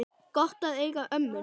Gott að eiga ömmur!